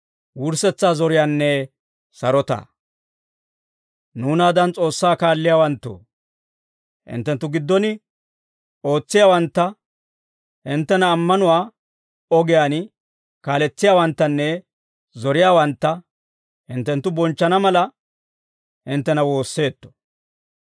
Nuunaadan S'oossaa kaalliyaawanttoo, hinttenttu giddon ootsiyaawantta, hinttena ammanuwaa ogiyaan kaaletsiyaawanttanne zoriyaawantta, hinttenttu bonchchana mala, hinttena woosseetto.